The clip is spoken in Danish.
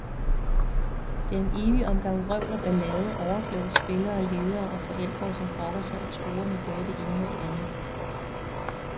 Det er en evig omgang vrøvl og ballade, overkloge spillere, ledere og forældre, som brokker sig og truer med både det ene og det andet.